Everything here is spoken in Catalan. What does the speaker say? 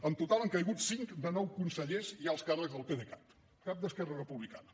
en total han caigut cinc de nou consellers i alts càrrecs del pdecat cap d’esquerra republicana